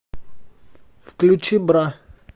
включи бра